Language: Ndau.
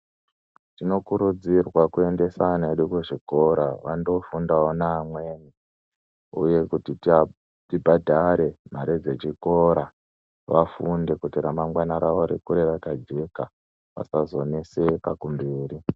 Tinokurudzirwa kuendesa ana edu kuzvikora vandofundawo ngaamweni uye kuti tibhadhare mare dzezvikora vafunde kuti ramangwani ravo ribude rakajeka kuti vasazonetseka kumberi.